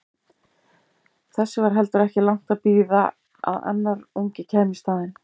Þess var heldur ekki langt að bíða að annar ungi kæmi í staðinn.